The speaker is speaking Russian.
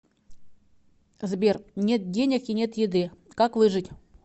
сбер нет денег и нет еды как выжить